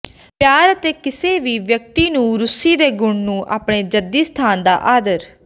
ਪਿਆਰ ਅਤੇ ਕਿਸੇ ਵੀ ਵਿਅਕਤੀ ਨੂੰ ਰੂਸੀ ਦੇ ਗੁਣ ਨੂੰ ਆਪਣੇ ਜੱਦੀ ਸਥਾਨ ਦਾ ਆਦਰ